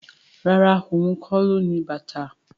Rárá, ohun kó lo ní bàtà